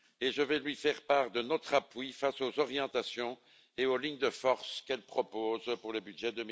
Je vais lui faire part de notre appui face aux orientations et aux lignes de force qu'elle propose pour le budget